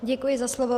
Děkuji za slovo.